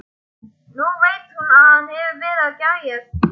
Nú veit hún að hann hefur verið að gægjast.